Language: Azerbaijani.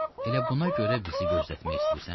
Elə buna görə bizi gözlətmək istəyirsən?